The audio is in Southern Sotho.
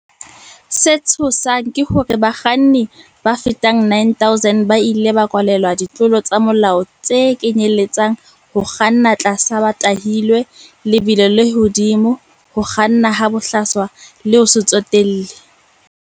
Se tshosang ke hore bakga nni ba fetang 9,000 ba ile ba kwalelwa ditlolo tsa molao tse kenyeletsang ho kganna tlasa ba tahilwe, lebelo le hodimo, ho kganna ha bohlaswa le ho se tsotelle.